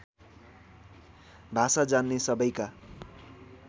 भाषा जान्ने सबैका